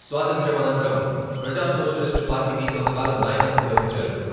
స్వాతంత్య్రం అనంతరం ప్రజాసోషలిస్టు పార్టీకి కొంతకాలం నాయకత్వం వహించారు.